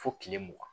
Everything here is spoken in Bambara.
Fo kile mugan